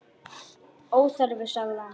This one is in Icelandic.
Óþarfi, sagði hann.